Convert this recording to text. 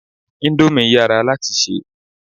Íńdómì yàrá láti ṣé.